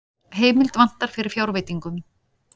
Heimild vantar fyrir fjárveitingum